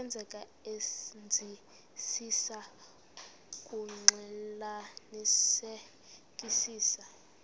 senzeka senzisisa ukuxclelanisekisisa